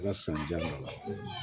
sannijam